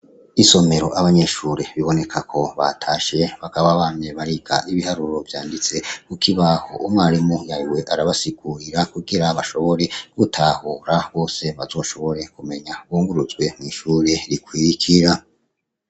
Isomero abanyeshure biboneka ko batashe bakaba bame bariga ibiharuro vyanditse, kuko i baho umwarimu yariwe arabasikurira kugira bashobore gutahura bose bazoshobore kumenya bunguruzwe mw'ishure rikwikira.